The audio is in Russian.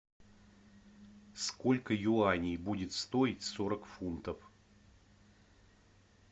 сколько юаней будет стоить сорок фунтов